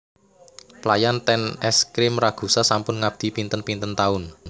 Pelayan ten Es Krim Ragusa sampun ngabdi pinten pinten taun